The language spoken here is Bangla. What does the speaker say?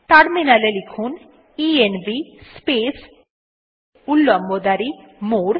টার্মিনাল এ লিখুন ইএনভি স্পেস উল্লম্ব দাঁড়ি মোরে